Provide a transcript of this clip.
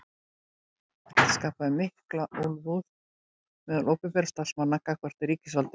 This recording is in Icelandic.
Þetta skapaði mikla úlfúð meðal opinberra starfsmanna gagnvart ríkisvaldinu.